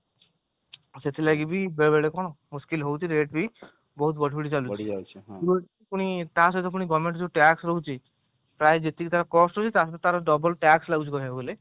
ସେଥିପାଇଁ ବି ବେଳେବେଳେ କଣ ମୁସ୍କିଲ ହଉଛି ବହୁତ ବଢିବଢି ଚାଲିଛି ପୁଣି ତାସହିତ government ର ଯୋଉ TAX ରହୁଛି ପ୍ରାୟ ଯେତିକି ତାଙ୍କର cost ରହୁଛି ତାଠୁ ତାର double TAX ରହୁଛି କହୁବାକୁ ଗଲେ